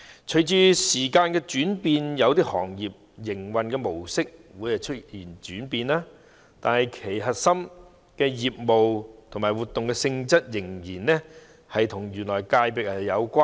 隨着時代轉變，有些行業的營運模式會出現轉型，但核心業務及活動性質仍然與原有的界別有關。